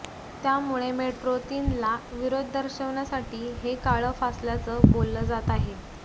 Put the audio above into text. त्यामुळे मेट्रो तीनला विरोध दर्शवण्यासाठी हे काळं फासल्याचं बोललं जात आहे